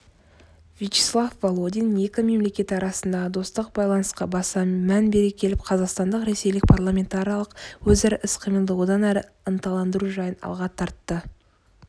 вячеслав володин екі мемлекет арасындағы достық байланысқа баса мән бере келіп қазақстандық-ресейлік парламентаралық өзара іс-қимылды одан әрі ынталандыру жайын алға тартты